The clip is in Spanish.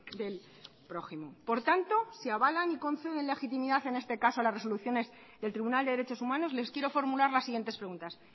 del prójimo por tanto se avalan y conceden legitimidad en este caso a las resoluciones del tribunal de derechos humanos les quiero formular las siguientes preguntas